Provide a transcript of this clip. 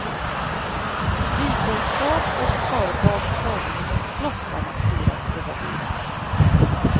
Vissällskap och företag formligen slåss om att fira trubadurens minne.